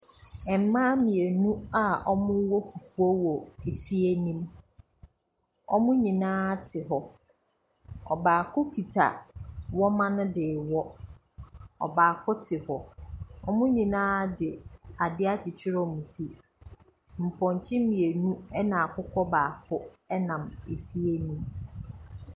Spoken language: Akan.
Mmaa mmienu a wɔrewɔ fufuo wɔ fie ne mu. Wɔn nyinaa te hɔ. Ɔbaako kita wɔma no de rewɔ, ɔbaako te. Wɔn nyinaa de ade akyekyere wɔn ti. Mpɔnkye mmienu ne akokɔ baako nam fie ne mu.